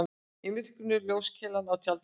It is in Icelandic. Í myrkrinu ljóskeilan á tjaldinu.